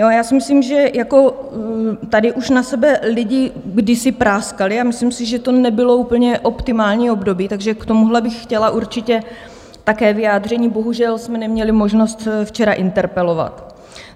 Já si myslím, že tady už na sebe lidi kdysi práskali, a myslím si, že to nebylo úplně optimální období, takže k tomuhle bych chtěla určitě také vyjádření - bohužel jsme neměli možnost včera interpelovat.